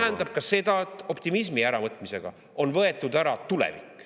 … see tähendab seda, et ära on võetud ka tulevik.